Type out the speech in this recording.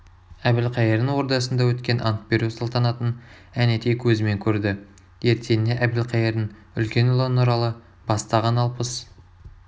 әбілқайырдың ордасында өткен ант беру салтанатынын әнетей көзімен көрді ертеңіне әбілқайырдың үлкен ұлы нұралы бастаған алпыс